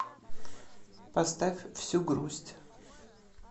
поставь всю грусть